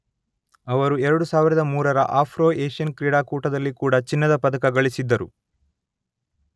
ಅವರು ಎರಡು ಸಾವಿರದ ಮೂರರ ಆಫ್ರೊ ಏಷ್ಯನ್ ಕ್ರೀಡಾಕೂಟದಲ್ಲಿ ಕೂಡ ಚಿನ್ನದ ಪದಕ ಗಳಿಸಿದ್ದರು.